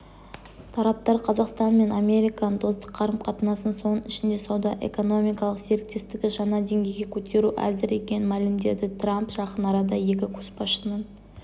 тараптар қазақстан мен американың достық қарым-қатынасын соның ішінде сауда-экономикалық серіктестікті жаңа деңгейге көтеруге әзір екенін мәлімдеді трамп жақын арада екі көшбасшының